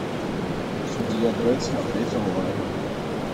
судья дредд смотреть онлайн